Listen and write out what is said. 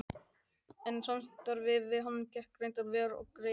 En samstarfið við hann gekk reyndar vel og greiðlega.